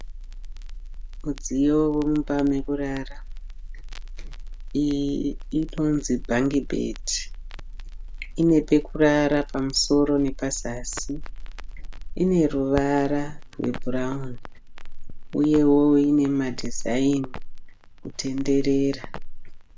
Mudziyo wemumba mekurara. Iyi inonzi bhangi bhedhi. Ine pekurara pamusoro nepazasi. Ineruvara rwebhurauni uyewo ine madhizaini kutenderera.